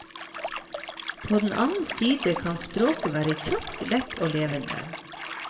På den annen side kan språket være kjapt, lett og levende.